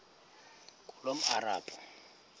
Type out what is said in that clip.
ngulomarabu